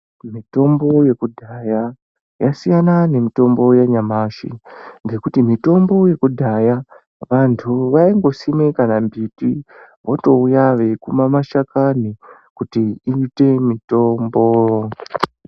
Mitombo yekudhaya yasiyana nemitombo yanyamashi . Ngekuti mitombo yekudhaya vantu vangoisima kana mbiti votouya veikuma mashakani kuti iite mitombo .